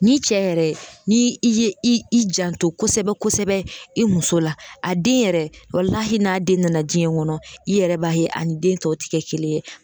Ni cɛ yɛrɛ ni i ye i i janto kosɛbɛ kosɛbɛ i muso la a den yɛrɛ walali n'a den nana jiɲɛ kɔnɔ i yɛrɛ b'a ye a ni den tɔw ti kɛ kelen ye